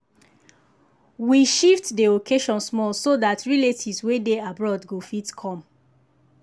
we shift dey occasion small so that relatives wey dey abroad go fit come.